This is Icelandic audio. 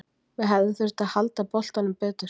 Við hefðum þurft að halda boltanum betur.